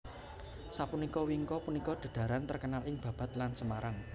Sapunika wingko punika dedhaharan terkenal ing Babat lan Semarang